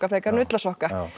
frekar en ullarsokka